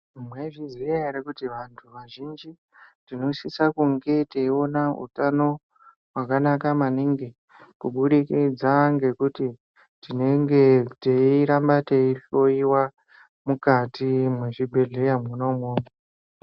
Mwaizviziya ere kuti vantu vazhinji tinosisa kunge teiona utano hwakanaka maningi, kubudikidza ngekuti tinenge teiramba teihloyiwa mukati mwezvibhedhleya mwona umwomwo.